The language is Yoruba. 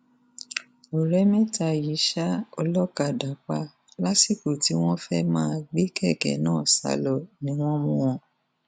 ọrẹ mẹta yìí ṣá olókàdá pa lásìkò tí wọn fẹẹ máa gbé kẹkẹ náà sá lọ ni wọn mú wọn